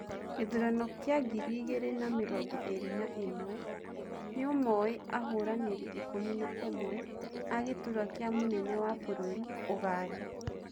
gĩthurano kĩa Ngiri igiri na mĩrongoĩrĩ na ĩmwe: Nĩumoĩ ahũranĩri ikũmi na ũmwe a gĩturua kĩa mũnene wa bũrũri ũganda.